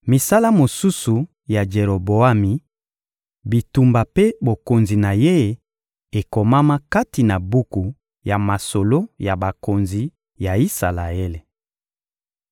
Misala mosusu ya Jeroboami, bitumba mpe bokonzi na ye ekomama kati na buku ya masolo ya bakonzi ya Isalaele.